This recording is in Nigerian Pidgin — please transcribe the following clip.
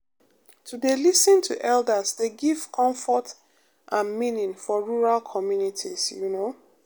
to dey lis ten to elders dey give comfort and meaning for rural communities you know